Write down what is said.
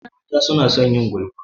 Mata suna son yin gulma.